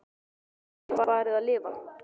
Svo ég gæti farið að lifa.